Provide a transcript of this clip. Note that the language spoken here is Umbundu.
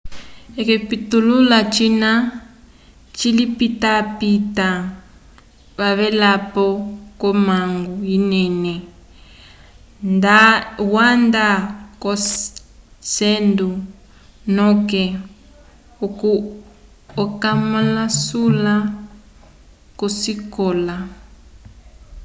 okipitulula cina cilipitapita wavelapo ko mangu inene nda wanda ko cendo noke okamalusula kosikola